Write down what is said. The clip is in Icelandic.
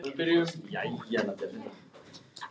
Lóa-Lóa hafði reynt að spyrja hana, en Heiða svaraði engu.